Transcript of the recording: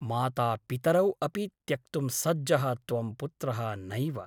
मातापितरौ अपि त्यक्तुं सज्जः त्वं पुत्रः नैव ।